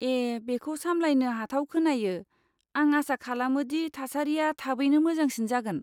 ए, बेखौ सामलायनो हाथाव खोनायो, आं आसा खालामो दि थासारिआ थाबैनो मोजांसिन जागोन।